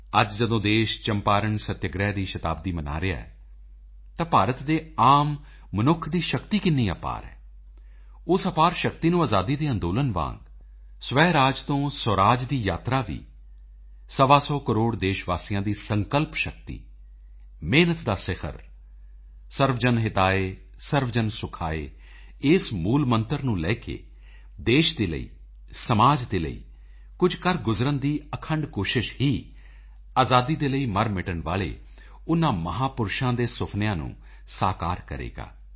ਅੱਜ ਜਦੋਂ ਦੇਸ਼ ਚੰਪਾਰਣ ਸੱਤਿਆਗ੍ਰਹਿ ਦੀ ਸ਼ਤਾਬਦੀ ਮਨਾ ਰਿਹਾ ਹੈ ਤਾਂ ਭਾਰਤ ਦੇ ਆਮ ਮਨੁੱਖ ਦੀ ਸ਼ਕਤੀ ਕਿੰਨੀ ਅਪਾਰ ਹੈ ਉਸ ਅਪਾਰ ਸ਼ਕਤੀ ਨੂੰ ਆਜ਼ਾਦੀ ਦੇ ਅੰਦੋਲਨ ਵਾਂਗ ਸਵੈਰਾਜ ਤੋਂ ਸੁਰਾਜ ਦੀ ਯਾਤਰਾ ਵੀ ਸਵਾ ਸੌ ਕਰੋੜ ਦੇਸ਼ ਵਾਸੀਆਂ ਦੀ ਸੰਕਲਪ ਸ਼ਕਤੀ ਮਿਹਨਤ ਦਾ ਸਿਖਰ ਸਰਵਜਨ ਹਿਤਾਏ ਸਰਵਜਨ ਸੁਖਾਏ ਇਸ ਮੂਲਮੰਤਰ ਨੂੰ ਲੈ ਕੇ ਦੇਸ਼ ਦੇ ਲਈ ਸਮਾਜ ਦੇ ਲਈ ਕੁਝ ਕਰ ਗੁਜ਼ਰਨ ਦੀ ਅਖੰਡ ਕੋਸ਼ਿਸ਼ ਹੀ ਆਜ਼ਾਦੀ ਦੇ ਲਈ ਮਰਮਿਟਣ ਵਾਲੇ ਉਨ੍ਹਾਂ ਮਹਾਪੁਰਸ਼ਾਂ ਦੇ ਸੁਫ਼ਨਿਆਂ ਨੂੰ ਸਾਕਾਰ ਕਰੇਗਾ